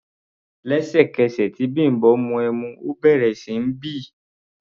Ẹ̀sẹ̀kẹsẹ̀ tí Bimbo mu ẹmu, ó bẹ̀rẹ̀ sí ní bì.